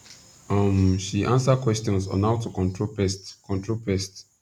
um she answer questions on how to control pest control pest